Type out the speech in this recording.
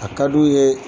A ka d'u ye